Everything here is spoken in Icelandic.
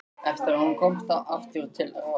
Eftir að hún komst aftur til ráðs.